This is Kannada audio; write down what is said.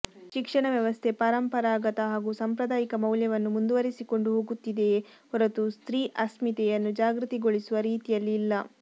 ಶಿಕ್ಷಣ ವ್ಯವಸ್ಥೆ ಪಾರಂಪರಾಗತ ಹಾಗೂ ಸಾಂಪ್ರದಾಯಿಕ ಮೌಲ್ಯವನ್ನು ಮುಂದುವರಿಸಿಕೊಂಡು ಹೋಗುತ್ತಿದೆಯೇ ಹೊರತು ಸ್ತ್ರೀ ಅಸ್ಮಿತೆಯನ್ನು ಜಾಗೃತಿಗೊಳಿಸುವ ರೀತಿಯಲ್ಲಿ ಇಲ್ಲ